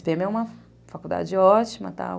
é uma faculdade ótima,